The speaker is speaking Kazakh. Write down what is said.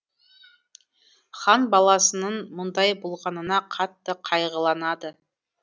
хан баласынын мұндай болғанына қатты қайғыланады